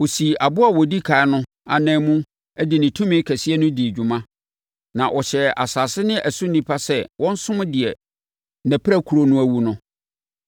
Ɔsii aboa a ɔdi ɛkan no ananmu de ne tumi kɛseɛ no dii dwuma, na ɔhyɛɛ asase ne ɛso nnipa sɛ wɔnsom deɛ nʼapirakuro no awu no.